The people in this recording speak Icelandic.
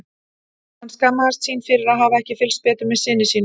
Hann skammaðist sín fyrir að hafa ekki fylgst betur með syni sínum.